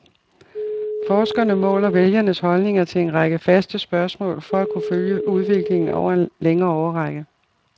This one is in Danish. Forskerne måler vælgernes holdninger til en række faste spørgsmål for at kunne følge udviklingen over en længere årrække.